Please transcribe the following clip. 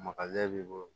b'i bolo